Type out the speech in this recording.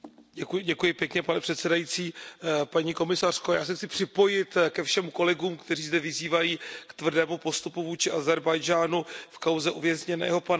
Pane předsedající, paní komisařko, já se chci připojit ke všem kolegům, kteří zde vyzývají k tvrdému postupu vůči Ázerbájdžánu v kauze uvězněného pana Hüsejnova.